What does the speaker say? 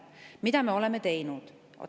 Mida me oleme teinud?